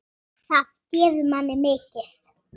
Allt iðaði af lífi.